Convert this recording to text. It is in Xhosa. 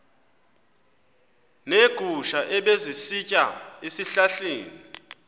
neegusha ebezisitya ezihlahleni